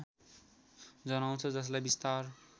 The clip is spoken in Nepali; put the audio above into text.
जनाउँछ जसलाई बिस्तार